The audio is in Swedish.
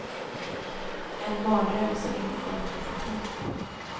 En mardröm, som inte går att rätta till.